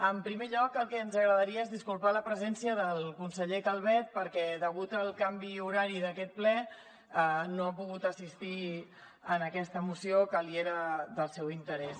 en primer lloc el que ens agradaria és disculpar l’absència del conseller calvet perquè degut al canvi horari d’aquest ple no ha pogut assistir a aquesta moció que era del seu interès